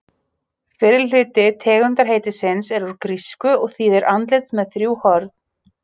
Fyrri hluti tegundarheitisins er úr grísku og þýðir andlit með þrjú horn.